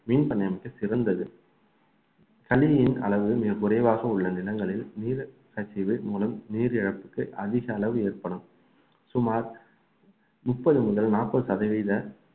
மீன் பண்ணை அமைக்க சிறந்தது களியின் அளவு மிகக் குறைவாக உள்ள நிலங்களில் நீர் கசிவு மூலம் நீரிழப்புக்கு அதிக அளவு ஏற்படும் சுமார் முப்பது முதல் நாற்பது சதவீத